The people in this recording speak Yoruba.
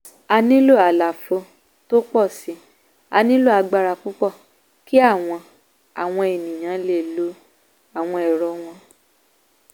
a nílò àlàfo tó pò si; a nílò agbára púpọ̀ kí àwọn àwọn ènìyàn lè lo àwọn ẹ̀rọ wọn